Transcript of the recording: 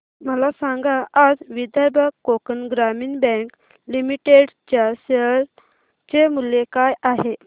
मला सांगा आज विदर्भ कोकण ग्रामीण बँक लिमिटेड च्या शेअर चे मूल्य काय आहे